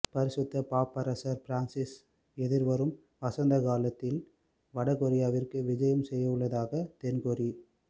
பரிசுத்த பாப்பரசர் பிரான்சிஸ் எதிர்வரும் வசந்தகாலத்தில் வடகொரியாவிற்கு விஜயம் செய்யவுள்ளதாக தென்கொரி